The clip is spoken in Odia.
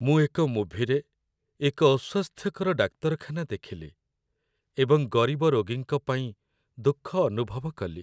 ମୁଁ ଏକ ମୁଭିରେ ଏକ ଅସ୍ୱାସ୍ଥ୍ୟକର ଡାକ୍ତରଖାନା ଦେଖିଲି ଏବଂ ଗରିବ ରୋଗୀଙ୍କ ପାଇଁ ଦୁଃଖ ଅନୁଭବ କଲି।